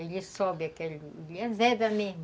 Ele sobe aquele... Ele azeda mesmo.